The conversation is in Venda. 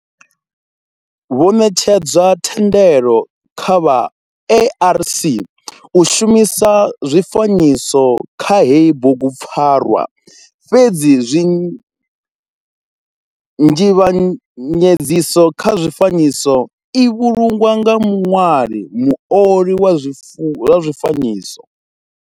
Ho netshedzwa thendelo kha vha ARC u shumisa zwifanyiso kha heyi bugupfarwa fhedzi nzivhanyedziso kha zwifanyiso i vhulungwa nga muṅwali muoli wa zwifanyiso.